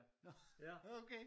Nå okay!